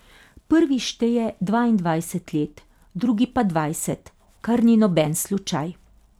Prvi šteje dvaindvajset let, drugi pa dvajset, kar ni noben slučaj.